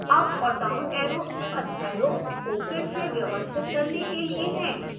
up और down arrows अध्यायों को फिर से व्यवस्थित करने के लिए हैं